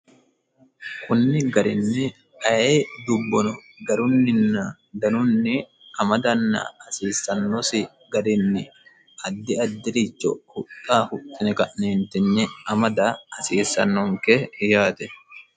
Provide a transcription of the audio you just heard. kunni garinni aye dubbono garunninna danunni amadanna hasiissannosi garinni addi addi'richo huxa hutine ka'neentinni amada hasiissannonke yaate